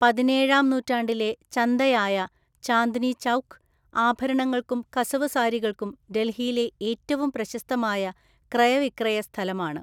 പതിനേഴാം നൂറ്റാണ്ടിലെ ചന്തയായ ചാന്ദ്‌നി ചൗക്ക്, ആഭരണങ്ങൾക്കും കസവു സാരികൾക്കും ഡൽഹിയിലെ ഏറ്റവും പ്രശസ്തമായ ക്രയവിക്രയ സ്ഥലമാണ്.